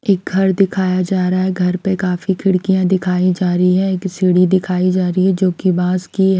एक घर दिखाया जा रहा है घर पे काफी खिड़कियाँ दिखाई जा रही हैं एक सीढ़ी दिखाई जा रही है जो बांस की है।